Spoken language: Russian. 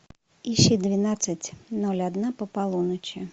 ищи двенадцать ноль одна по полуночи